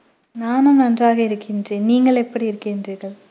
நானும் நன்றாக இருக்கின்றேன் நீங்கள் எப்படி இருக்கின்றீர்கள்